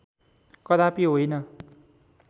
कदापि होइन